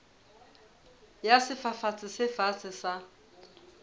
ya sefafatsi se fatshe sa